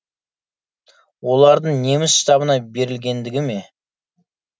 олардың неміс штабына берілгендігі ме